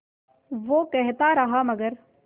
वो कहता रहा मगर